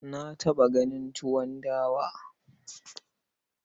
Na taɓa ganin tuwon dawa.